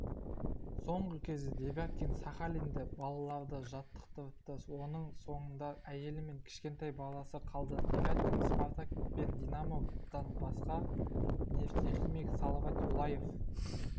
соңғы кезде девяткин сахалинде балаларды жаттықтырыпты оның соңында әйелі мен кішкентай баласы қалды девяткин спартак пен динамодан басқа нефтехимик салават юлаев